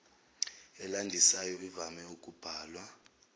elandisayo ivame ukubhalwa